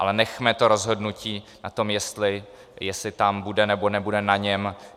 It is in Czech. Ale nechme to rozhodnutí o tom, jestli tam bude, nebo nebude, na něm.